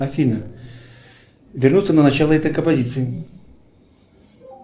афина вернуться на начало этой композиции